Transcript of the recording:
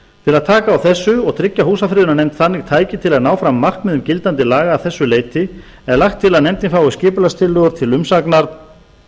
til að taka á þessu og tryggja húsafriðunarnefnd þannig tæki til að ná fram markmiðum gildandi laga að þessu leyti er lagt til að nefndin fái skipulagstillögur til umsagnar